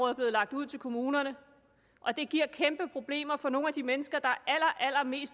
er blevet lagt ud til kommunerne og det giver kæmpeproblemer for nogle af de mennesker der